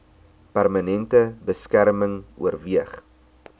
permanente beskerming oorweeg